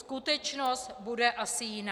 Skutečnost bude asi jiná.